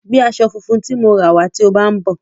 Gbé aṣọ funfun tí mo ra wá tí ó bá ń bọ̀.